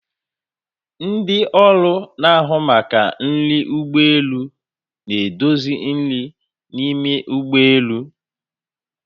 Ndị ọrụ na-ahụ maka nri ụgbọ elu na-edozi nri n'ime ụgbọ elu.